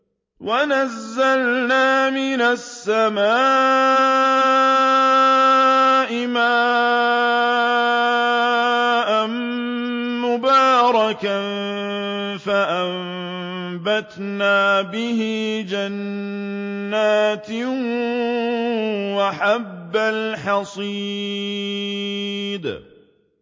وَنَزَّلْنَا مِنَ السَّمَاءِ مَاءً مُّبَارَكًا فَأَنبَتْنَا بِهِ جَنَّاتٍ وَحَبَّ الْحَصِيدِ